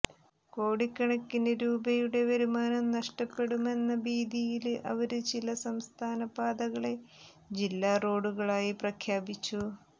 കോടിക്കണക്കിന് രൂപയുടെ വരുമാനം നഷ്ടപ്പെടുമെന്ന ഭീതിയില് അവര് ചില സംസ്ഥാന പാതകളെ ജില്ലാ റോഡുകളായി പ്രഖ്യാപിച്ചു